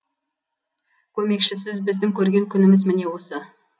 көмекшісіз біздің көрген күніміз міне осы